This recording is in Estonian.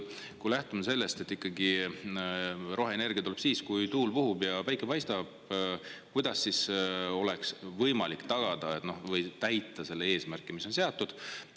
Kui lähtuda sellest, et roheenergia tuleb siis, kui tuul puhub ja päike paistab, kuidas siis oleks võimalik tagada või täita see eesmärk, mis on seatud?